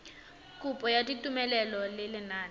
kopo ya tumelelo ya lenane